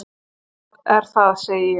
Hvað er það? segi ég.